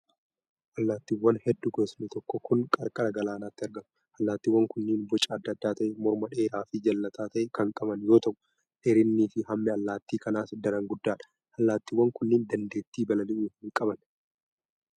Allaattiiwwan hedduu gosni tokkoo kun, qarqara galaanaatti argamu. Allaattiiwwan kunneen boca adda ta'e morma dheeraa fi jallataa ta'e kan qaban yoo ta'u, dheerinni fi hammi allaattii kanaas daran guddaa dha. Allaattiiwwan kunneen dandeettii balali'uu hin qaban.